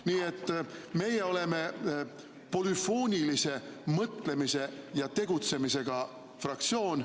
Nii et meie oleme polüfoonilise mõtlemise ja tegutsemisega fraktsioon.